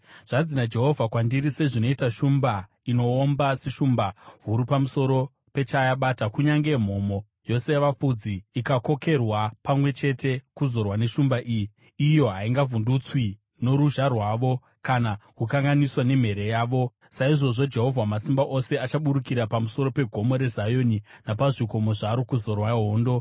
Zvanzi naJehovha kwandiri: “Sezvinoita shumba inoomba, seshumba huru pamusoro pechayabata, kunyange mhomho yose yavafudzi ikakokerwa pamwe chete kuzorwa neshumba iyi, iyo haingavhundutswi noruzha rwavo, kana kukanganiswa nemhere yavo, saizvozvo Jehovha Wamasimba Ose achaburukira pamusoro peGomo reZioni napazvikomo zvaro kuzorwa hondo.